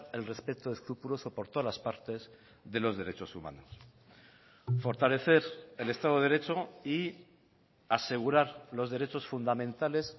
el respeto escrupuloso por todas las partes de los derechos humanos fortalecer el estado de derecho y asegurar los derechos fundamentales